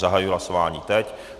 Zahajuji hlasování teď.